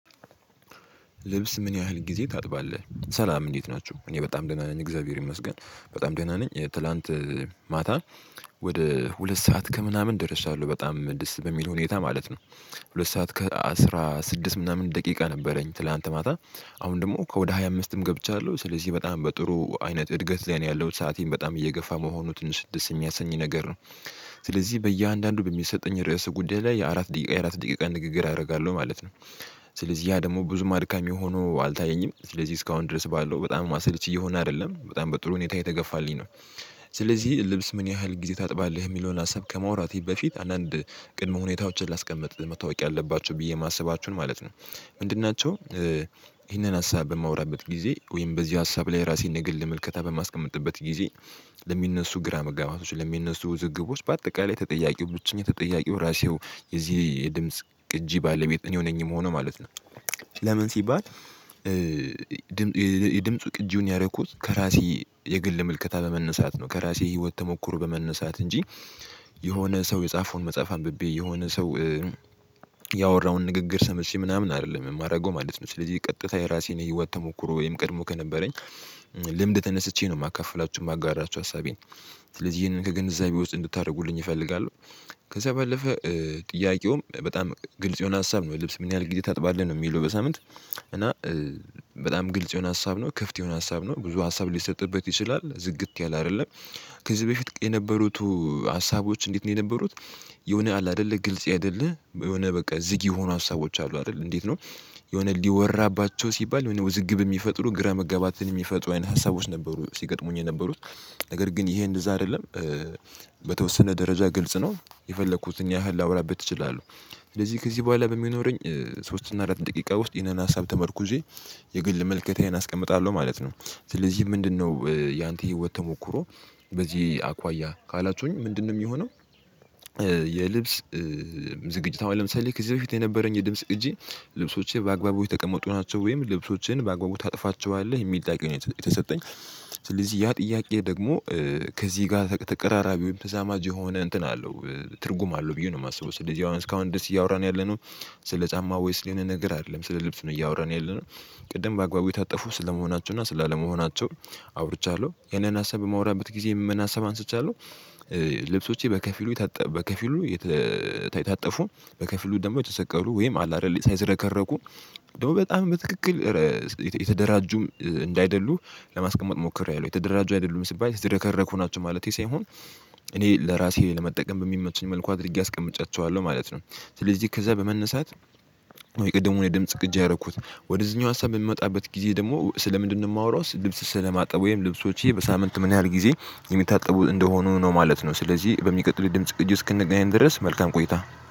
ልብስ ምን ያህል ጊዜ ታጥባለህ? ሰላም እንዴት ናችሁ እኔ በጣም ደህና ነኝ። እግዚአብሔር ይመስገን በጣም ደህና ነኝ። ትላንት ማታ ወደ ሁለት ሰዓት ከምናምን ደርሻለሁ በጣም ደስ በሚል ሁኔታ ማለት ነው። ሁለት ሰዓት ከአስራ ስድስት ምናምን ደቂቃ ነበረኝ። ትላንት ማታ አሁን ደግሞ ከወደ ሃያ አምስትም ገብቻለሁ ስለዚህ በጣም በጥሩ አይነት እድገት ላይ ነው ያለው ሰአቴን በጣም እየገፋ መሆኑን ስድስተኛ ሰኝ ነገር ነው። ስለዚህ በእያንዳንዱ በሚሰጠኝ ርዕስ ጉዳይ ላይ የአራት ደቂቃ የአራት ደቂቃ ንግግር አደርጋለሁ ማለት ነው። ስለዚህ ያ ደግሞ ብዙ አድካሚ ሆኖ አልታየኝም ስለዚህ እስካሁን ድረስ ባለው በጣም ማሰለች እየሆነ አይደለም በጣም በጥሩ ሁኔታ የተገፋልኝ ነው። ስለዚህ ልብስ ምን ያህል ጊዜ ታጥባለህ? የሚለውን አሰብ ከማውራቴ በፊት አንዳንድ ቅድመ ሁኔታዎችን ላስቀምጥ መታወቅ ያለባችሁ ብዬ የማስባችሁን ማለት ነው። ምንድን ናቸው? ይህንን ሀሳብ በማወራበት ጊዜ ወይም በዚህ ሀሳብ ላይ ራሴን ንግል መልከታ በማስቀመጥበት ጊዜ ለሚነሱ ግራ መጋባቶች ለሚነሱ ውዝግቦች በአጠቃላይ ተጠያቂው ብቸኛ ተጠያቂው ራሴው የዚህ የድምጽ ቅጂ ባለቤት እኔ የሆነኝም ሆኖ ማለት ነው። ለምን ሲባል? ድምፁ ቅጂውን ያረኩት ከራሴ የግል ምልከታ በመነሳት ነው። ከራሴ ህይወት ተሞክሮ በመነሳት እንጂ የሆነ ሰው የጻፈውን መጽሐፍ አንብቤ የሆነ ሰው ንግግር ሰምሽ ምናምን አይደለም የማደርገው ማለት ነው። ስለዚህ ቀጥታ የራሴን የህይወት ተሞክሮ ወይም ቀድሞ ከነበረኝ ልምድ ተነስቼ ነው የማከፍላችሁ የማጋራችሁ ሀሳቤን። ስለዚህ ይሄንን ከግንዛቤ ውስጥ እንድታደርጉልኝ እፈልጋለሁ። ከዛ ባለፈ ጥያቄውም በጣም ግልጽ የሆነ ሀሳብ ነው። ልብስ ምን ያህል ጊዜ ታጥባለህ ነው የሚለው በሳምንት። እና በጣም ግልጽ የሆነ ሀሳብ ነው ክፍት የሆነ ሀሳብ ነው ብዙ ሀሳብ ሊሰጥበት ይችላል ዝግት ያለ አይደለም። ከዚህ በፊት የነበሩት ሀሳቦች እንዴት ነው የነበሩት? የሆነ አለ አይደለ ግልጽ አይደለ የሆነ በቃ ዝግ የሆኑ ሀሳቦች አሉ አይደለ እንዴት ነው? የሆነ እንዲወራባቸው ሲባል ወይንም ውዝግብ የሚፈጥሩ ግራ መጋባትን የሚፈጥሩ አይነት ሀሳቦች ነበሩ ሲገጥሙኝ የነበሩት። ነገር ግን ይሄ እንደዛ አይደለም። በተወሰነ ደረጃ ግልጽ ነው የፈለኩት እኛ ያህል ላውራበት ይችላሉ። ስለዚህ ከዚህ በኋላ በሚኖረኝ ሶስት እና አራት ደቂቃ ውስጥ ይሄንን ሀሳብ ተመርኩዜ የግል መልከቴን አስቀምጣለሁ ማለት ነው። ስለዚህ ምንድነው ያንተ ህይወት ተሞክሮ? በዚህ አኳያ ካላችሁኝ ምንድነው የሚሆነው? የልብስ ዝግጅታው ለምሳሌ ከዚህ በፊት የነበረኝ የድምጽ እጅ ልብሶችን በአግባቡ የተቀመጡ ናቸው። ወይም ልብሶችን በአግባቡ ታጥፋቸዋለህ የሚል ጥያቄ የተሰጠኝ። ስለዚህ ያ ጥያቄ ደግሞ ከዚህ ጋር ተቀራራቢ ወይም ተዛማጅ የሆነ እንትን አለው ትርጉም አለው ብዬ ነው የማስበው። ስለዚህ ያው እስካሁን ደስ እያወራን ያለነው። ስለ ጫማ ወይስ የሆነ ነገር አይደለም ስለ ልብስ ነው እያወራን ያለነው። ቅድም በአግባቡ የታጠፉ ስለመሆናቸው እና ስላለመሆናቸው አውርቻለሁ ያንን ሀሳብ በማውራበት ጊዜ የምን ሀሳብ አንስቻለሁ። ልብሶቼ በከፊሉ የተታጠፉ በከፊሉ ደግሞ የተሰቀሉ ወይም አለ አይደል ሳይሰረከረኩ ደግሞ በጣም በትክክል የተደራጁም እንዳይደሉ ለማስቀመጥ ሞክሬ አይሉም የተደራጁ አይደሉም ሲባይ ተደረገሁ ናቸው ማለቴ ሳይሆን እኔ ለራሴ ለመጠቀም በሚመችኝ መልኩ አድርጌ አስቀምጫቸዋለሁ ማለት ነው። ስለዚህ ከዛ በመነሳት የቅድሙን የድምጽ ግጭ ያደረኩት ወደዚህኛው ሀሳብ በምንመጣበት ጊዜ ደግሞ ስለ ምንድነው የማወራው ስልብስ ስለማጠብ ወይም ልብሶችዬ በሳምንት ምን ያህል ጊዜ የሚታጠቡ እንደሆኑ ነው ማለት ነው። ስለዚህ በሚቀጥለው ድምጽ እጁ እስክንገናኝ ድረስ መልካም ቆይታ